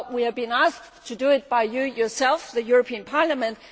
Well, we have been asked to do it by you yourselves the European Parliament.